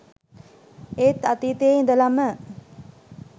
ඒත් අතීතයේ ඉඳලම